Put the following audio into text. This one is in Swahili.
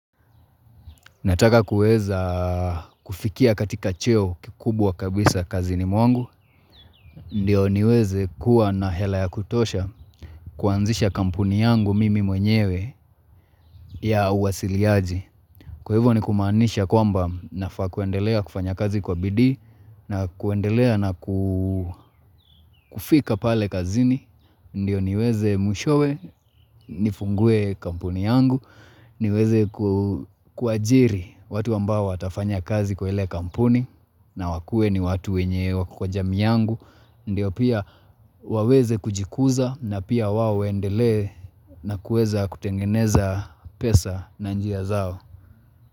Nataka kueza kufikia katika cheo kikubwa kabisa kazini mwangu Ndiyo niweze kuwa na hela ya kutosha kuanzisha kampuni yangu mimi mwenyewe ya uwasiliaji Kwa hivyo ni kumaanisha kwamba nafaa kuendelea kufanya kazi kwa bidii na kuendelea na kufika pale kazini Ndiyo niweze mwishowe nifungue kampuni yangu niweze kuajiri watu ambao watafanya kazi kwa ile kampuni na wakuwe ni watu wenye wako kwa jamii yangu, ndio pia waweze kujikuza na pia wao waendelee na kueza kutengeneza pesa na njia zao.